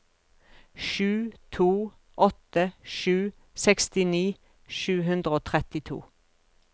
sju to åtte sju sekstini sju hundre og trettito